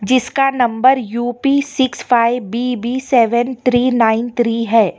इसका number UP six five B B seven three nine three है।